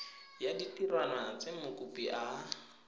ya ditirwana tse mokopi a